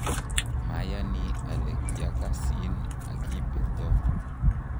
mayani ale kiakasin aki beto